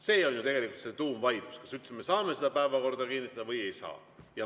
See on ju see tuumvaidlus: kas me üldse saame päevakorda kinnitada või ei saa?